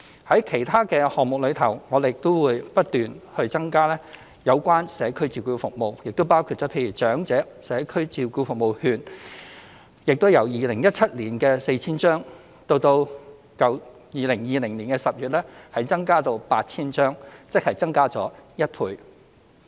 在其他項目，我們也會不斷增加社區照顧服務，包括"長者社區照顧服務券"亦由2017年的 4,000 張，增至2020年10月的 8,000 張，即增加一倍。